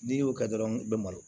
N'i y'o kɛ dɔrɔn i be malo